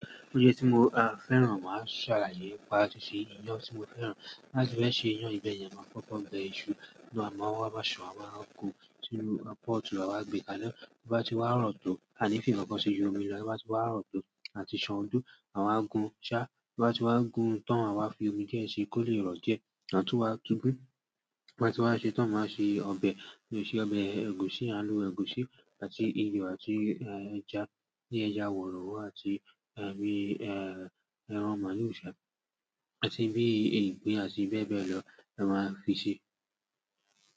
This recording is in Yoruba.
Ó jẹ́ tí mo a fẹ́ràn, màá ṣàlàyé pa tíṣù ìyàn tí mo fẹ́ràn. Láti bẹ́ẹ̀ ṣe ìyàn ibẹ̀ ni a máa kọ́kọ́ bẹ iṣu nínú amọ̀, ó máa san, a máa gun tìrú pọ́tú̀, a máa gbé kálú. Bí bá ti wá rọ́tò, àní fi kànkàn sí yọ omi lọ, bí bá ti wá rọ́tò àti ṣan òdó, àwa gun ṣá. Bí bá ti wá gun tán, àwa fi omi díẹ̀ sí i kó lè rọ̀ díẹ̀. Àtún wa tún gún, bí ábá ti wá ṣe tán, màá ṣe ọbẹ̀, ṣe ọbẹ̀ ẹ̀gúsí, àlù ẹ́gúsí àti ìyò àti ẹja, bí ẹja wọ̀rọ̀wò àti ẹran màlúù ṣhà àti bí i ìgbín àti bẹ́ẹ̀ bẹ́ẹ̀ lọ la máa fi ṣi.